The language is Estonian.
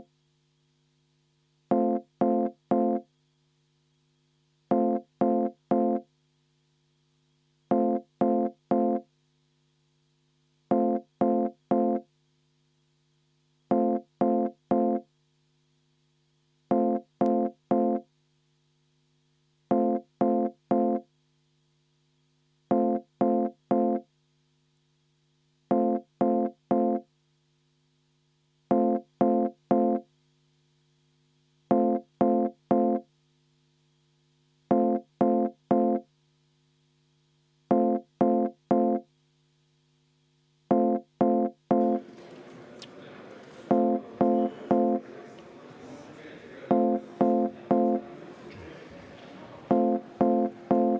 V a h e a e g